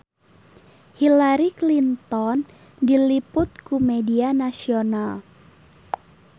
Hillary Clinton diliput ku media nasional